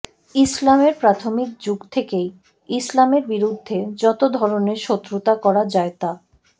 ইসলামের প্রাথমিক যুগ থেকেই ইসলামের বিরুদ্ধে যতো ধরনের শত্রুতা করা যায় তা